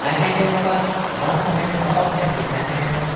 के ऊपर बहोत सारे फोटो फ्रेम दिखाई दे रहे हैं।